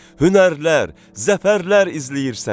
Hünərlər, zəfərlər izləyir səni.